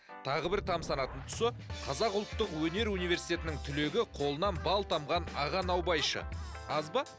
тағы бір тамсанатын тұсы қазақ ұлттық өнер университетінің түлегі қолынан бал тамған аға наубайшы аз ба